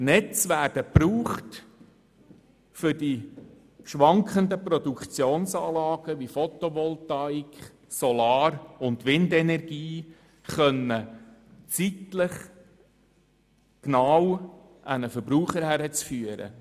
Sie werden gebraucht, um die schwankenden Produktionsanlagen wie Photovoltaik, Solar- und Windenergie zeitlich genau an den Verbraucher zu führen.